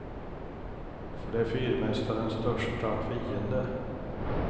För det är fyrmästarens största fiende.